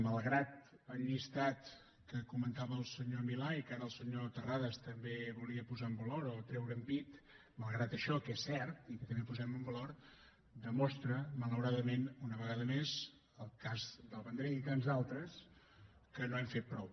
malgrat el llistat que comentava el senyor milà i que ara el senyor terrades també volia posar en valor o treure’n pit malgrat això que és cert i que també posem en valor demostra malauradament una vegada més el cas del vendrell i tants d’altres que no hem fet prou